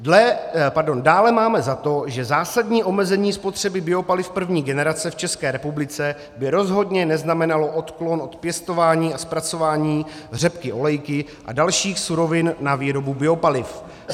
"Dále máme za to, že zásadní omezení spotřeby biopaliv první generace v České republice by rozhodně neznamenalo odklon od pěstování a zpracování řepky olejky a dalších surovin na výboru biopaliv.